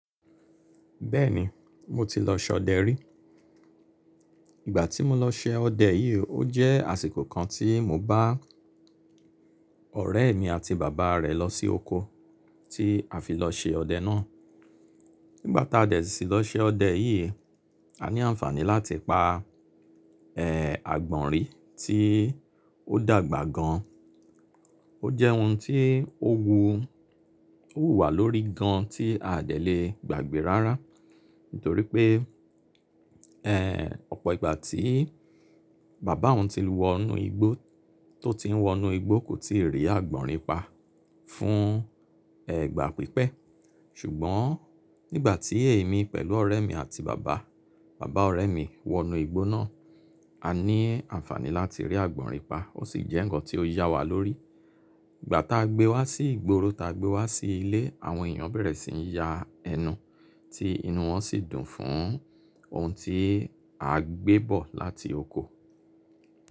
Bẹ́ẹ̀ni, mo ti lọ ṣe ọdẹ rí. Ìgbà tí mo lọ ṣe ọdẹ yìí, ó jẹ́ àsìkò kan tí mo bá ọ̀rẹ́ mi àti bàbá rẹ̀ lọ sí oko tí a fi lọ ṣe ọdẹ náà. Nígbà tá a dẹ̀ sí i lọ ṣe ọdẹ yìí, a ní àǹfààní láti pa, ẹ́h, àgbọ̀nrín tí ó dàgbà gan. Ó jẹ́ ohun tí ó wu, ó wù wá lórí gan tí a à dẹ̀ le gbàgbé rárá; nítorí pé, eh, ọ̀pọ̀ ìgbà tí bàbá òun ti wọ inú igbó, tó ti ń wọ inú igbó kò tíì rí àgbọ̀nrín pa fún, ẹ́h, gbà pípẹ́. Ṣùgbọ́n nígbà tí èmi pẹ̀lú ọ̀rẹ́ mi àti bàbá, bàbá ọ̀rẹ́ mi wọ inú igbó náà, a ní àǹfààní láti rí àgbọ̀nrín pa. Ó sì jẹ́ ǹkan tí ó yá wa lórí. Ìgbà tá a gbé wá sí ìgboro, tá a gbé wá sí ilé, àwọn èèyàn bẹ̀rẹ̀ sí ní ya ẹnu, tí inú wọn sì dùn fún ohun tí a gbé bọ̀ láti oko.